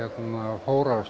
fóru á